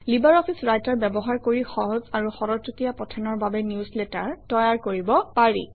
LibreOffice Writer ব্যৱহাৰ কৰি সহজ আৰু খৰতকীয়া পঠনৰ বাবে নিউজলেটাৰ তৈয়াৰ কৰিব পাৰি